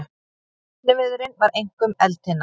Efniviðurinn var einkum eldtinna.